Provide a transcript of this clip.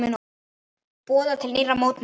Boðað til nýrra mótmæla